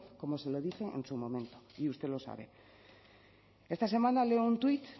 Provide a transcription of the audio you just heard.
como se lo dije en su momento y usted lo sabe esta semana ley un tuit